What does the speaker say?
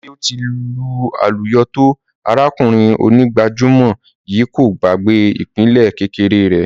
Bí ó ti lu àlùyọ tó, arákùnrin onígbàjámọ̀ yìí kò gbàgbé ìpìlẹ̀ kékeré rẹ̀.